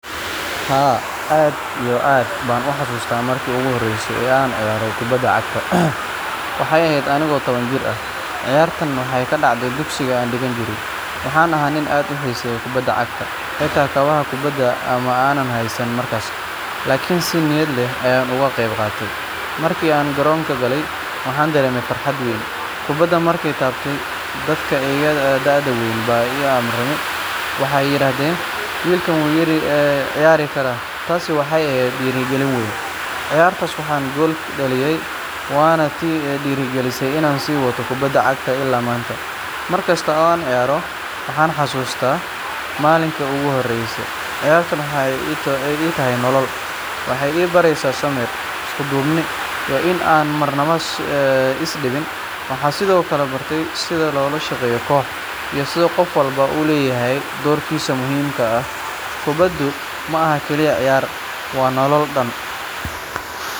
Haa, aad iyo aad baan u xasuustaa markii ugu horreysay ee aan ciyaaray kubadda cagta. Waxay ahayd anigoo taban jir ah, ciyaartaana waxay ka dhacday dugsigii aan dhigan jiray. Waxaan ahaa nin aad u xiiseeya kubadda cagta, xitaa kabaha kubadda ma aanan haysan markaas, laakiin si niyad leh ayaan uga qayb qaatay. Markii aan garoonka galay, waxaan dareemay farxad weyn. Kubadda markaan taabtay, dadka iga da’da weyn baa i amaanay, waxay yiraahdeen "Wiilkaan wuu ciyaari karaa." Taasi waxay ahayd dhiirrigelin weyn. Ciyaartaas waxaan gool dhaliyay, waana tii i dhiirrigelisay inaan sii wato kubadda cagta ilaa maanta. Markasta oo aan ciyaaro, waxaan xasuustaa maalintii ugu horreysay. Ciyaartu waxay ii tahay nolol, waxay i baraysaa samir, isku-duubni, iyo in aan marnaba is dhiibin. Waxaan sidoo kale bartay sida loola shaqeeyo koox, iyo sida qof walba u leeyahay doorkiisa muhiimka ah. Kubaddu ma aha oo keliya ciyaar, waa nolol dhan